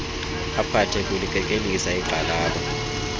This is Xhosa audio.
aphathe kulikekelisa igxalaba